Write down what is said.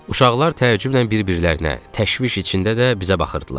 Uşaqlar təəccüblə bir-birlərinə, təşviş içində də bizə baxırdılar.